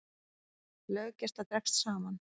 Löggæsla dregst saman